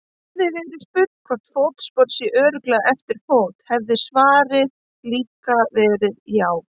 Hefði verið spurt hvort fótspor sé örugglega eftir fót hefði svarið líka verið já.